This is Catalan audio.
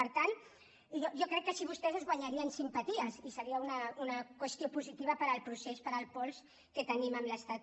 per tant jo crec que així vostès es guanyarien simpaties i seria una qüestió positiva per al procés per al pols que tenim amb l’estat